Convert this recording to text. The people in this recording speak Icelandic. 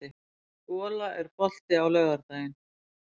Gola, er bolti á laugardaginn?